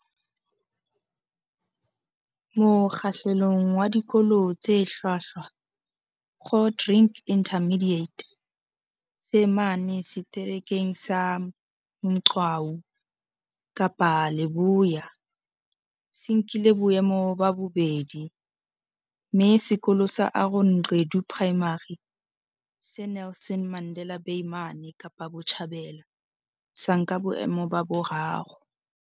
Mokgahlelong wa Dikolo tse Hlwahlwa, Grootdrink Intermediate, se mane Seterekeng sa Mgcawu, Kapa Leboya, se nkile boemo ba bobedi, mme Sekolo sa Aaron Gqedu Primary, se Nelson Mandela Bay mane Kapa Botjhabela, sa nka boemo ba boraro.